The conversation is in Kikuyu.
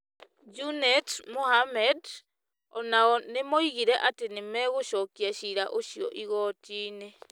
Junet Mohammed, o nao nĩ moigire atĩ nĩ megũcokia ciira ũcio igooti-nĩ.